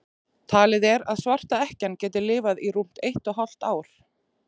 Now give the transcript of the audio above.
talið er að svarta ekkjan geti lifað í rúmt eitt og hálft ár